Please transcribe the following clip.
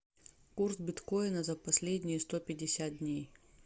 курс биткоина за последние сто пятьдесят дней